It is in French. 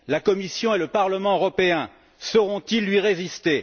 La Commission et le Parlement européen sauront ils lui résister?